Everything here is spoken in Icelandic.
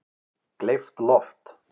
Gleypt loft